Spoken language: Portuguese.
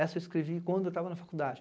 Essa escrevi quando eu estava na faculdade.